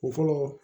O fɔlɔ